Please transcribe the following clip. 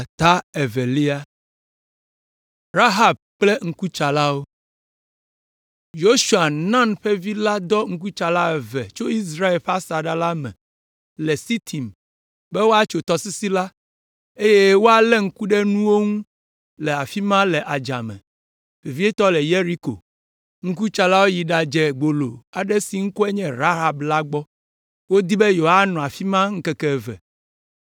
Yosua, Nun ƒe vi la dɔ ŋkutsala eve tso Israelviwo ƒe asaɖa la me le Sitim be woatso tɔsisi la, eye woalé ŋku ɖe nuwo ŋu le afi ma le adzame, vevietɔ le Yeriko. Ŋkutsalawo yi ɖadze gbolo aɖe si ŋkɔe nye Rahab la gbɔ. Wodi be yewoanɔ afi ma ŋkeke eve,